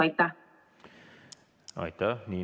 Aitäh!